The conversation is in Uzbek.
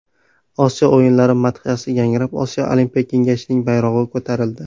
Osiyo o‘yinlari madhiyasi yangrab, Osiyo Olimpiya kengashining bayrog‘i ko‘tarildi.